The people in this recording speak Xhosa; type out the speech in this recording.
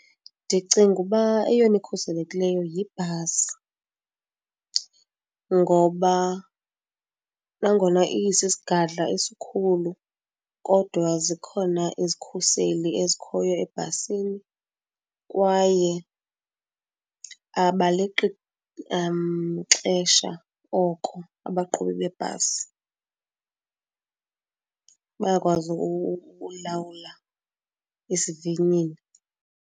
Ndicinga uba eyona ikhuselekileyo yibhasi. Ngoba nangona isisigadla esikhulu kodwa zikhona izikhuseli ezikhoyo ebhasini kwaye abaleqi xesha oko abaqhubi bebhasi, bayakwazi ukulawula isivinini.